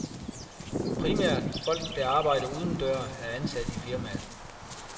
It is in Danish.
Primært folk, der arbejder udendøre, er ansat i firmaet.